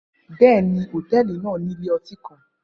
Bẹẹni, hotẹẹli naa ni ile-oti kan.